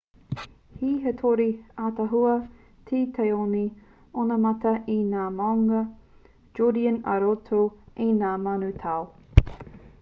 he hitori ataahua te taone onamata i ngā māunga judean i roto i ngā mano tau